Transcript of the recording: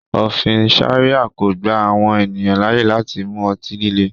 Ofin Sharia ko gba awọn eniyan laaye lati mu ọti-lile